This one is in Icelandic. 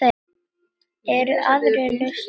Eru aðrar lausnir?